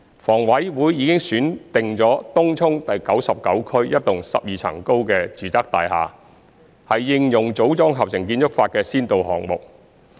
房委會已選定東涌第99區一幢12層高的住宅大廈為應用"組裝合成"建築法的先導項目。